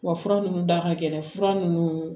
Wa fura nunnu da ka gɛlɛn fura ninnu